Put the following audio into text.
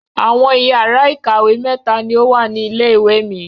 Àwọn ìyàrá-ìkàwé mẹ́ta ni ó wà ní ilé-ìwé mi.